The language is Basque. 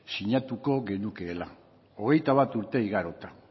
sinatuko genukeela hogeita bat urte igarota